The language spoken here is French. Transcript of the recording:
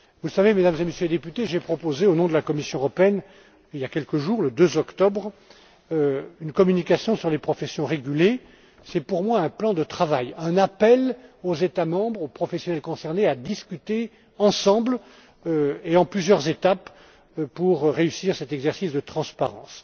Vous savez, Mesdames et Messieurs les députés, j'ai proposé, au nom de la Commission européenne, il y a quelques jours, le 2 octobre, une communication sur les professions régulées. C'est, pour moi, un plan de travail, un appel aux États membres, aux professionnels concernés à discuter ensemble et en plusieurs étapes pour réussir cet exercice de transparence.